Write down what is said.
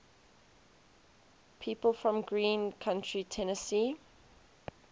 people from greene county tennessee